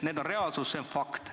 Need on reaalsus, see on fakt.